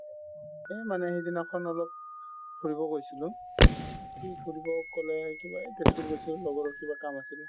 এই মানে সিদিনাখন অলপ ফুৰিব গৈছিলো ফুৰিব ক'লে কিবা এই তেজপুৰ গৈছিলো লগৰৰ কিবা কাম আছিলে